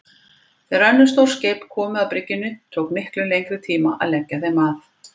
Þegar önnur stór skip komu að bryggjunni tók miklu lengri tíma að leggja þeim að.